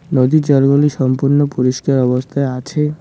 নদীর জলগুলি সম্পূর্ণ পরিষ্কার অবস্থায় আছে।